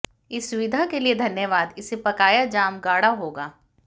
इस सुविधा के लिए धन्यवाद इसे पकाया जाम गाढ़ा होगा